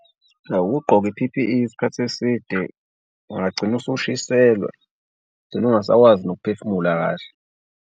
Awu ukugqoke i-P_P_E isikhathi eside, ungagcina usushiselwa ugcine ungasakwazi nokuphefumula kahle.